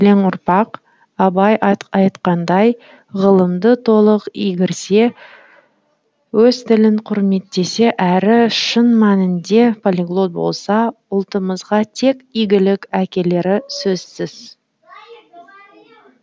өскелең ұрпақ абай айтқандай ғылымды толық игерсе өз тілін құрметтесе әрі шын мәнінде полиглот болса ұлтымызға тек игілік әкелері сөзсіз